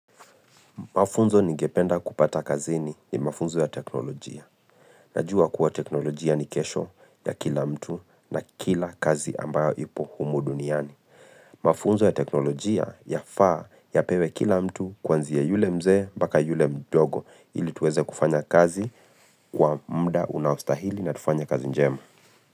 Mafunzo ningependa kupata kazini ni mafunzo ya teknolojia. Najua kuwa teknolojia ni kesho ya kila mtu na kila kazi ambayo ipo humu duniani. Mafunzo ya teknolojia yafaa yapewe kila mtu kwanzia yule mzee mpaka yule mdogo ili tuweze kufanya kazi kwa muda unaostahili na tufanye kazi njema.